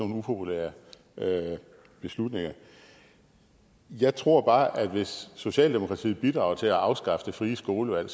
upopulære beslutninger jeg tror bare at hvis socialdemokratiet bidrager til at afskaffe det frie skolevalg